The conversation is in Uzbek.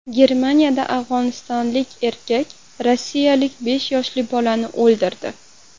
Germaniyada afg‘onistonlik erkak rossiyalik besh yoshli bolani o‘ldirdi.